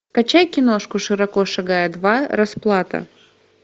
качай киношку широко шагая два расплата